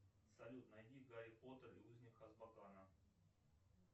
салют найди гарри поттер и узник азкабана